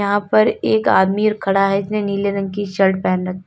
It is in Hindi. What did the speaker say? यहां पर एक आदमी खड़ा है जिसने नीले रंग की शर्ट पहन रखी--